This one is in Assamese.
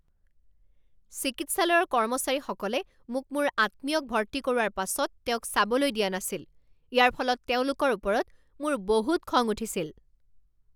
চিকিৎসালয়ৰ কৰ্মচাৰীসকলে মোক মোৰ আত্মীয়ক ভৰ্তি কৰোৱাৰ পাছত তেওঁক চাবলৈ দিয়া নাছিল। ইয়াৰ ফলত তেওঁলোকৰ ওপৰত মোৰ বহুত খং উঠিছিল।